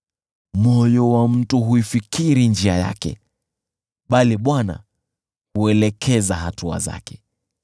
Moyo wa mtu huifikiri njia yake, bali Bwana huelekeza hatua zake.